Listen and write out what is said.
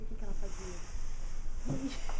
E o que é que ela fazia? E